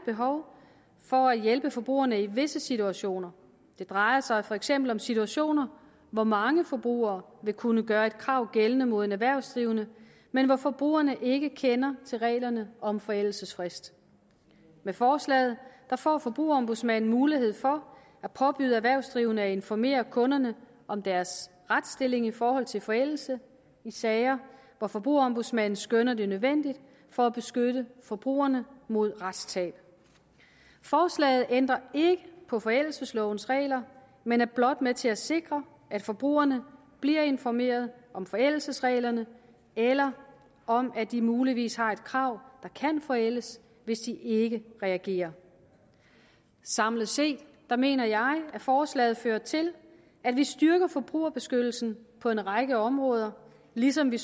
behov for at hjælpe forbrugerne i visse situationer det drejer sig for eksempel om situationer hvor mange forbrugere vil kunne gøre et krav gældende mod en erhvervsdrivende men hvor forbrugerne ikke kender til reglerne om forældelsesfrist med forslaget får forbrugerombudsmanden mulighed for at påbyde erhvervsdrivende at informere kunderne om deres retsstilling i forhold til forældelse i sager hvor forbrugerombudsmanden skønner det nødvendigt for at beskytte forbrugerne mod retstab forslaget ændrer ikke på forældelseslovens regler men er blot med til at sikre at forbrugerne bliver informeret om forældelsesreglerne eller om at de muligvis har et krav der kan forældes hvis de ikke reagerer samlet set mener jeg at forslaget fører til at vi styrker forbrugerbeskyttelsen på en række områder ligesom vi